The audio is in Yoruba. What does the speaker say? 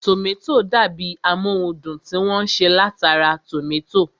Tòmátò dàbi amóhundùn tí wọ́n ṣe látara tòmátò